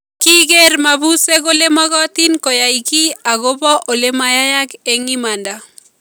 Kikiir mabusyek kole makotin koyai ki akobo ole� mayayak eng imanda